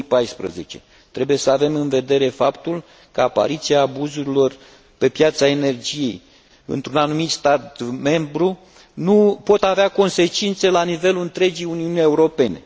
2014. Trebuie să avem în vedere faptul că apariția abuzurilor pe piața energiei într un anumit stat membru poate avea consecințe la nivelul întregii Uniuni Europene.